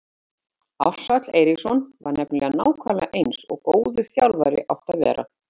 Ársæll Eiríksson var nefnilega nákvæmlega eins og góður þjálfari átti að vera.